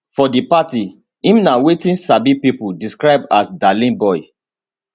for di party im na wetin sabi pipo describe as darling boy